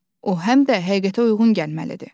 O həm də həqiqətə uyğun gəlməlidir.